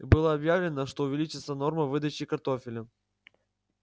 было объявлено что увеличится норма выдачи картофеля